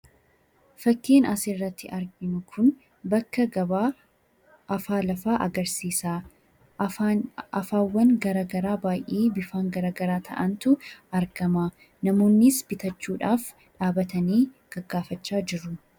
Fakiin asirratti arginu Kun bakka gabaa afaa lafaa agarsiisa. Afaawwan garagaraa bifaan adda addaa ta'antu argama namoonnis bitachuudhaaf dhaabbatanii gaggaafachaa jiru.